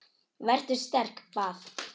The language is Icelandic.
Vertu sterk- bað